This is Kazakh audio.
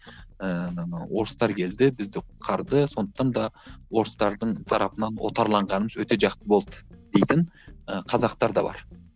ііі орыстар келді бізді құтқарды сондықтан да орыстардың тарапынан отарланғанымыз өте жақсы болды дейтін і қазақтар да бар